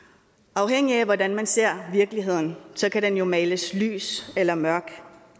afhængigt af hvordan man ser virkeligheden kan den jo males lys eller mørk